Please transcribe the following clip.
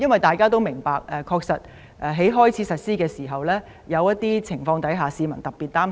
大家都明白，在經修訂的法例開始實施時，有些情況會令市民特別擔心。